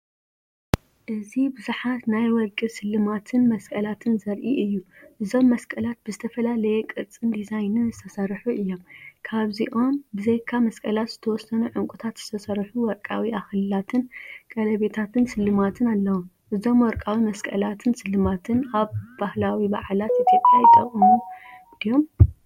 እዚ ብዙሓት ናይ ወርቂ ስልማትን መስቀላትን ዘርኢ እዩ። እዞም መስቀላት ብዝተፈላለየ ቅርጽን ዲዛይንን ዝተሰርሑ እዮም። ካብዚኦም ብዘይካ መስቀላት ዝተወሰኑ ዕንቊታት ዝተሰርሑ ወርቃዊ ኣኽሊላትን ቀለቤታትን ስልማትን ኣለው። እዞም ወርቃዊ መስቀላትን ስልማትን ኣብ ባህላዊ በዓላት ኢትዮጵያ ይጥቀሙ ድዮም?